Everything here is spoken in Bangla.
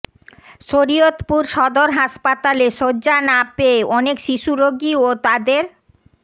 শরীয়তপুর সদর হাসপাতালে শয্যা না পেয়ে অনেক শিশু রোগী ও তাদের